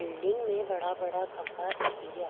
Building में बड़ा बड़ा खम्भा दिखे रिया।